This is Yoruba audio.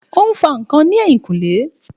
Ó ń fa ǹkan ní ẹ̀yìnkùlé